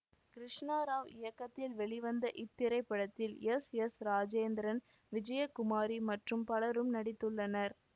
கிருஷ்ணராவ் இயக்கத்தில் வெளிவந்த இத்திரைப்படத்தில் எஸ் எஸ் ராஜேந்திரன் விஜயகுமாரி மற்றும் பலரும் நடித்துள்ளனர்